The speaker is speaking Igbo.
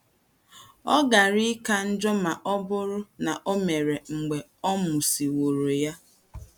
Ọ gaara ị̀ka njọ̀ ma ọ bụrụ na o mere mgbe a mụsị̀wọ̀rọ̀ ya. ”